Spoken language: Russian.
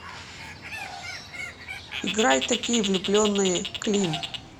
играй такие влюбленные клим